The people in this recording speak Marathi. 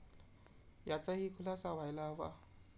याचा ही खुलासा व्हायला हवा.